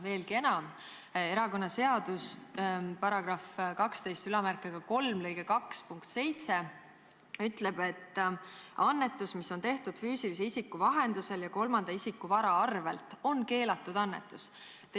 Veelgi enam, erakonnaseadus §123 lõike 2 punkt 7 ütleb, et annetus, mis on tehtud füüsilise isiku vahendusel ja kolmanda isiku vara arvelt, on keelatud annetus.